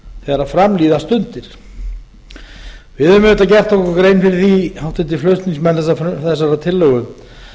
þegar fram líða stundir við höfum auðvitað gert okkur grein fyrir því háttvirtir flutningsmenn þessarar tillögu